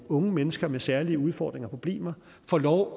unge mennesker med særlige udfordringer og problemer får lov